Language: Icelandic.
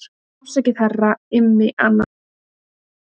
Afsakið herra Immi ananas.